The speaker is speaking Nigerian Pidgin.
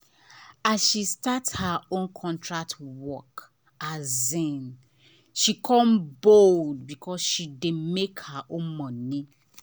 as she start her own contract work she come bold because she dey make her own money.